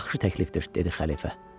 Yaxşı təklifdir, dedi xəlifə.